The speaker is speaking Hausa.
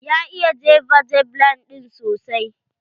Ya iya jefa javeline ɗin sosai.